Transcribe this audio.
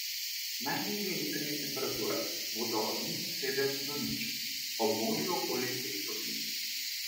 Najnižje jutranje temperature bodo od minus sedem do nič, ob morju okoli pet stopinj.